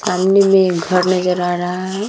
सामने मे एक घर नज़र आ रहा है ।